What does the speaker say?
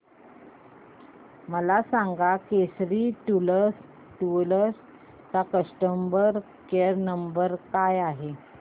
मला सांगा केसरी टूअर्स चा कस्टमर केअर क्रमांक काय आहे